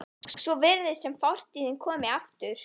Svo virðist sem fortíðin komi aftur.